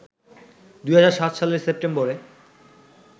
২০০৭ সালের সেপ্টেম্বরে